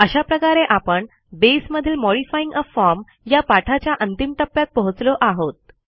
अशा प्रकारे आपण बेसमधील मॉडिफाइंग आ फॉर्म या पाठाच्या अंतिम टप्प्यात पोहोचलो आहोत